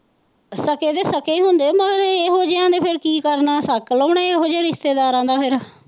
ਸਾਕੇ ਤੇ ਸਾਕੇ ਹੀ ਹੁੰਦੇ ਹੈ ਫੇਰ ਇਹੋ ਜਿਹਾ ਨੇ ਫੇਰ ਕੀ ਕਰਨਾ ਸਤਿ ਲਾਉਣੇ ਇਹੋ ਜਿਹੇ ਰਿਸ਼ੇਤਦਾਰਾਂ ਦਾ ਫੇਰ।